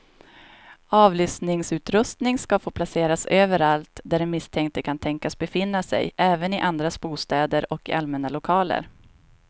Avlyssningsutrustning ska få placeras överallt där den misstänkte kan tänkas befinna sig, även i andras bostäder och i allmänna lokaler.